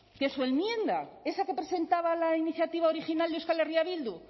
que su enmienda esa que presentaba la iniciativa original de euskal herria bildu